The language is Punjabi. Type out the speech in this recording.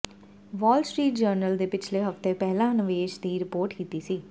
ਵਾਲ ਸਟ੍ਰੀਟ ਜਰਨਲ ਨੇ ਪਿਛਲੇ ਹਫਤੇ ਪਹਿਲਾਂ ਨਿਵੇਸ਼ ਦੀ ਰਿਪੋਰਟ ਕੀਤੀ ਸੀ